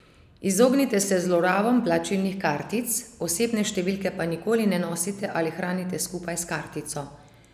Izognite se zlorabam plačilnih kartic, osebne številke pa nikoli ne nosite ali hranite skupaj s kartico.